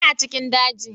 Ina cikin daji